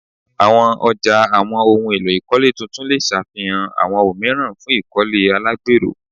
Awọn ọja awọn ohun elo ile tuntun le ṣafihan awọn omiiran fun ikole alagbero